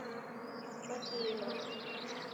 макеева